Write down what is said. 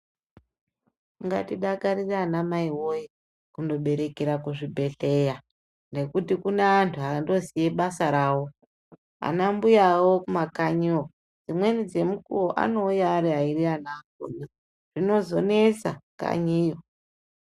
Katodakarire anamai woye kunoberekera kuzvibhedhlera nekuti kune antu anoziye basa rawo , anambuyawo kumakanyiyo dzimweni dzemukuwo anouya ari airi ana akona zvinozonesa kanyiyo.